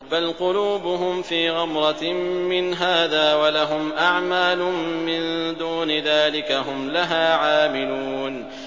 بَلْ قُلُوبُهُمْ فِي غَمْرَةٍ مِّنْ هَٰذَا وَلَهُمْ أَعْمَالٌ مِّن دُونِ ذَٰلِكَ هُمْ لَهَا عَامِلُونَ